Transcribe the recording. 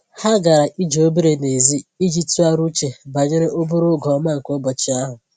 Ha gara ije obere n’èzí iji tụgharịa uche banyere obere oge ọma nke ụbọchị ahụ.